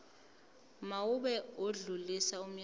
mawube odlulisa umyalezo